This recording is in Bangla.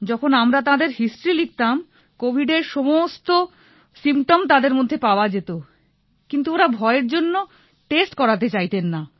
যখন আমরা তাঁদের হিস্টরি লিখতাম কোভিডের সমস্ত সিম্পটম তাঁদের মধ্যে পাওয়া যেত কিন্তু ওঁরা ভয়ের জন্য টেস্ট করাতে চাইতেন না